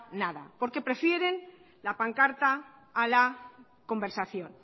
nada porque prefieren la pancarta a la conversación